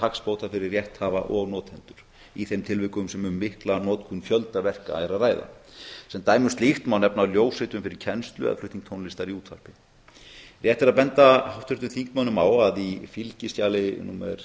hagsbóta fyrir rétthafa og notendur í þeim tilvikum sem um mikla notkun fjölda verka er að ræða sem dæmi um slíkt má nefna ljósritun fyrir kennslu eða flutning tónlistar í útvarpi rétt er að benda háttvirtum þingmönnum á að í fylgiskjali númer